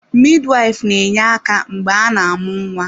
Midwife na-enye aka mgbe a na-amụ nwa.